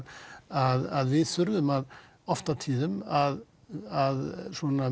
að við þurfum oft og tíðum að að